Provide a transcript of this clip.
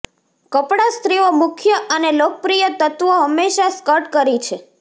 કપડા સ્ત્રીઓ મુખ્ય અને લોકપ્રિય તત્વો હંમેશા સ્કર્ટ કરી છે